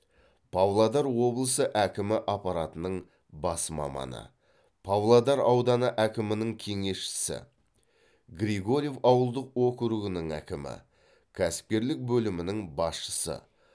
павлодар облысы әкімі аппаратының бас маманы павлодар ауданы әкімінің кеңесшісі григорьев ауылдық округінің әкімі кәсіпкерлік бөлімінің басшысы